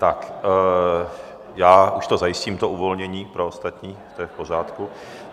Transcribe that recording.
Tak já už to zajistím, to uvolnění pro ostatní, to je v pořádku.